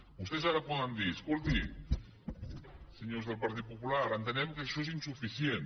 vostès ara podem dir escoltin senyors del partit popular entenem que això és insuficient